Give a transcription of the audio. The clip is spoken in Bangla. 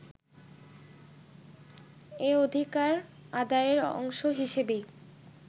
এ অধিকার আদায়ের অংশ হিসেবেই